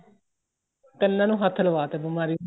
ਕੰਨਾ ਨੂੰ ਹੱਥ ਲਵਾਤੇ ਬੀਮਾਰੀ ਨੇ